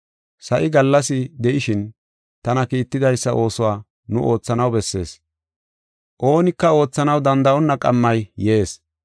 Sa7i gallas de7ishin tana kiittidaysa oosuwa nu oothanaw bessees. Oonika oothanaw danda7onna qammay yees.